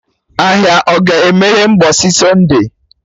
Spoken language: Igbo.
Ahịa ọ ga-emeye mgbọsị Sunday?